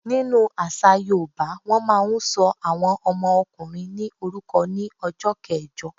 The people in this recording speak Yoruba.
Nínu àṣà yoòbá, wọ́n máa n sọ àwọn ọmọ ọkùnrin ní orúkọ ní ọjọ́ kẹẹ̀jọ